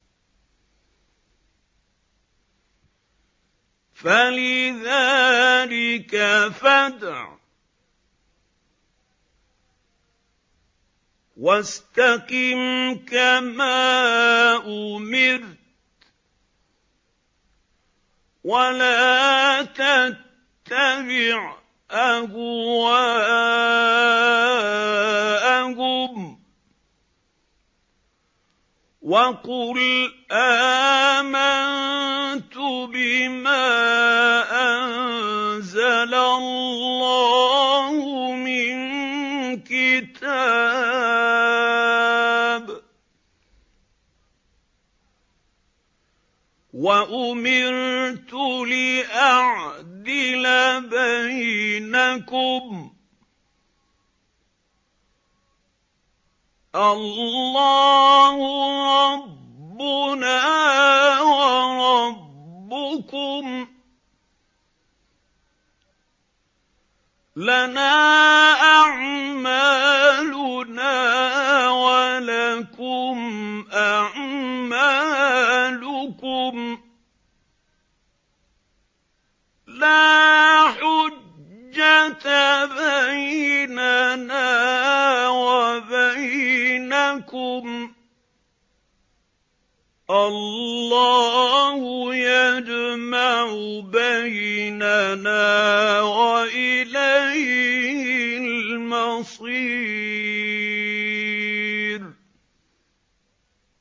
فَلِذَٰلِكَ فَادْعُ ۖ وَاسْتَقِمْ كَمَا أُمِرْتَ ۖ وَلَا تَتَّبِعْ أَهْوَاءَهُمْ ۖ وَقُلْ آمَنتُ بِمَا أَنزَلَ اللَّهُ مِن كِتَابٍ ۖ وَأُمِرْتُ لِأَعْدِلَ بَيْنَكُمُ ۖ اللَّهُ رَبُّنَا وَرَبُّكُمْ ۖ لَنَا أَعْمَالُنَا وَلَكُمْ أَعْمَالُكُمْ ۖ لَا حُجَّةَ بَيْنَنَا وَبَيْنَكُمُ ۖ اللَّهُ يَجْمَعُ بَيْنَنَا ۖ وَإِلَيْهِ الْمَصِيرُ